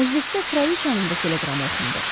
Məclisdə Kralıçanın da teleqramı oxundu.